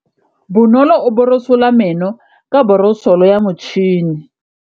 Bonolô o borosola meno ka borosolo ya motšhine.